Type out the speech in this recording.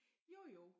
Jo jo